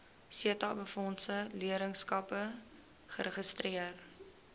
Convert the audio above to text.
setabefondse leerlingskappe geregistreer